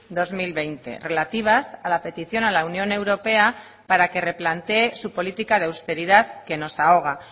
dos mil veinte relativas a la petición a la unión europea para que replantee su política de austeridad que nos ahoga